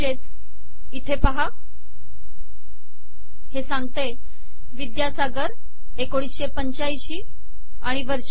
म्हणजे इथे पाहा हे सांगते विद्यासागर 1985 आणि वर्ष